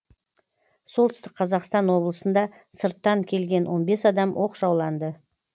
солтүстік қазақстан облысында сырттан келген он бес адам оқшауланды